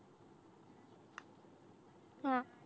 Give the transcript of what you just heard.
हा